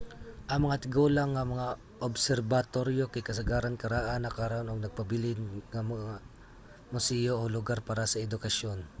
ang mga tigulang nga mga obserbatoryo kay kasagaran karaan na karon ug nagpabilin nga mga museyo o lugar para sa edukasyon